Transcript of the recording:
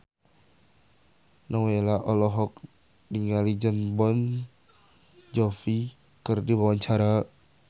Nowela olohok ningali Jon Bon Jovi keur diwawancara